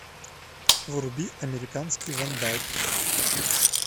вруби американский вандал